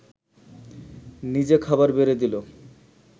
নিজে খাবার বেড়ে দিল